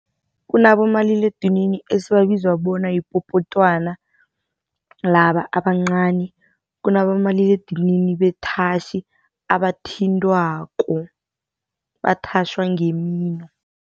Kunabomaliledinini esibabizwa bona yipopotwana laba abancani kunabomaliledinini bethatjhi abathintwako, bathatjhwa ngemino.